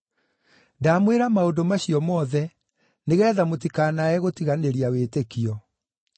“Ndamwĩra maũndũ macio mothe nĩgeetha mũtikanae gũtiganĩria wĩtĩkio.